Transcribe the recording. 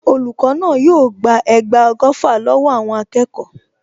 Olùkọ́ náà yóò gba ẹgba ọgọ́fà lọ́wọ́ àwọn akẹ́kọ̀ọ.